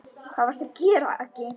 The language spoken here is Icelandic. Hvað varstu að gera, Aggi.